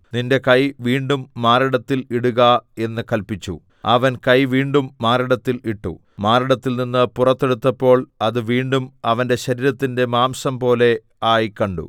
നിന്റെ കൈ വീണ്ടും മാറിടത്തിൽ ഇടുക എന്ന് കല്പിച്ചു അവൻ കൈ വീണ്ടും മാറിടത്തിൽ ഇട്ടു മാറിടത്തിൽനിന്ന് പുറത്തെടുത്തപ്പോൾ അത് വീണ്ടും അവന്റെ ശരീരത്തിന്റെ മാംസംപോലെ ആയി കണ്ടു